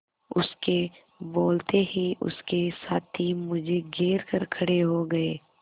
उसके बोलते ही उसके साथी मुझे घेर कर खड़े हो गए